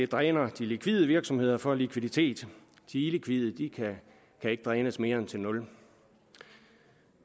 dræner de likvide virksomheder for likviditet de illikvide kan ikke drænes mere end til nul